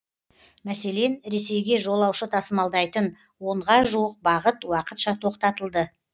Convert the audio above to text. мәселен ресейге жолаушы тасымалдайтын онға жуық бағыт уақытша тоқтатылды